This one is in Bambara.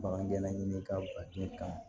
Bagangɛnna ɲini k'a den kan